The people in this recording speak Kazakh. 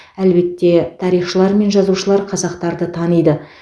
әлбетте тарихшылар мен жазушылар қазақтарды таниды